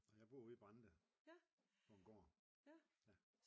Og jeg bor ude i Brande på en gård